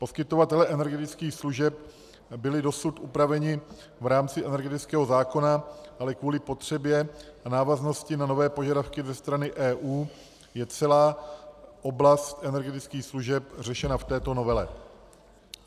Poskytovatelé energetických služeb byli dosud upraveni v rámci energetického zákona, ale kvůli potřebě a návaznosti na nové požadavky ze strany EU je celá oblast energetických služeb řešena v této novele.